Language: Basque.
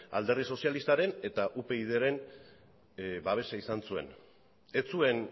alderdi sozialistaren eta upyd ren babesa izan zuen ez zuen